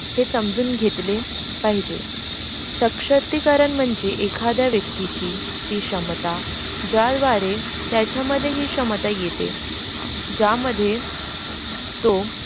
ते समजून घेतले पाहिजे सशक्तिकरण म्णजे एखादा व्यक्तीची ती क्षमता त्याच्यामध्ये ही क्षमता येते ज्यामध्ये तो.